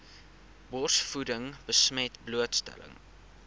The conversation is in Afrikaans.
borsvoeding besmet blootstelling